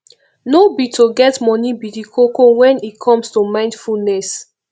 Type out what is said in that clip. no be to get money be di koko when e comes to mindfulness